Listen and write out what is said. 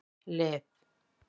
Liv